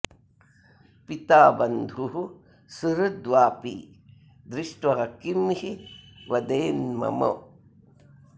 पिता बन्धुः सुहृत् वापि दृष्ट्वा किं हि वदेन्मम